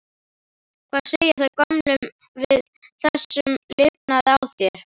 Hvað segja þau gömlu við þessum lifnaði á þér?